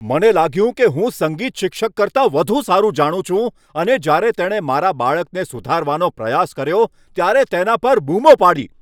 મને લાગ્યું કે હું સંગીત શિક્ષક કરતાં વધુ સારું જાણું છું અને જ્યારે તેણે મારા બાળકને સુધારવાનો પ્રયાસ કર્યો ત્યારે તેના પર બૂમો પાડી.